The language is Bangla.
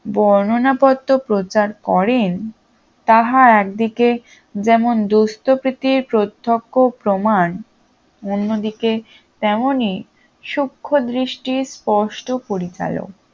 বর্ণনা পত্র প্রচার করেন তাহা একদিকে যেমন দুস্থপ্রীতির প্রত্যক্ষ প্রমান অন্যদিকে তেমনই সূক্ষ্ম দৃষ্টির স্পষ্ট পরিচালক